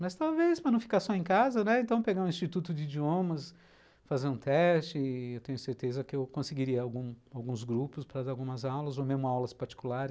Mas talvez, para não ficar só em casa, né, então pegar um instituto de idiomas, fazer um teste, eu tenho certeza que eu conseguiria alguns grupos para dar algumas aulas ou mesmo aulas particulares.